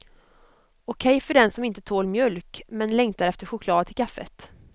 Okej för den som inte tål mjölk men längtar efter choklad till kaffet.